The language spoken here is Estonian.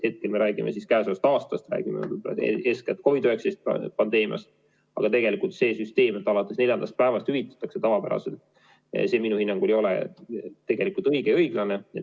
Hetkel me räägime käesolevast aastast, me räägime eeskätt COVID-19 pandeemiast, aga tegelikult see süsteem, et alates neljandast päevast hüvitatakse tavapäraselt, minu hinnangul ei ole õige ja õiglane.